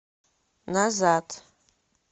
назад